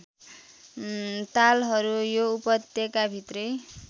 तालहरू यो उपत्यकाभित्रै